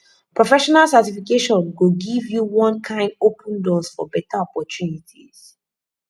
professional certification go give you one kyn open doors for beta opportunities